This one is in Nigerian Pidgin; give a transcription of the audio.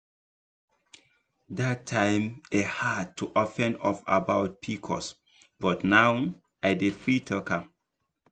dat time e hard to open up about pcos but now i dey free talk am.